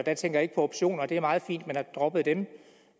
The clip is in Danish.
jeg tænker ikke på optioner det er meget fint at man har droppet dem